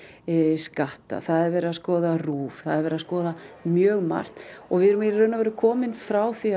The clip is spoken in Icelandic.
skatta það er verið að skoða RÚV það er verið að skoða mjög margt og við erum í rauninni komin frá því